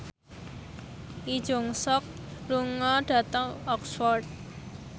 Lee Jeong Suk lunga dhateng Oxford